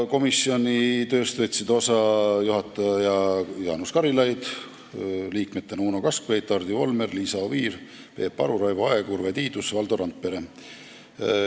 Komisjoni tööst võtsid osa juhataja Jaanus Karilaid ning komisjoni liikmed Uno Kaskpeit, Hardi Volmer, Liisa Oviir, Peep Aru, Raivo Aeg, Urve Tiidus ja Valdo Randpere.